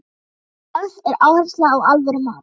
Lögð er áhersla á alvöru mat.